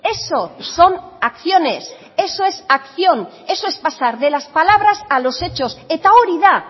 eso son acciones eso es acción eso es pasar de las palabras a los hechos eta hori da